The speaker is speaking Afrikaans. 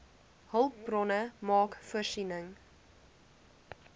hulpbronne maak voorsiening